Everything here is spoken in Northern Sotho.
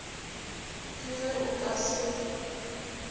ke ge o ka se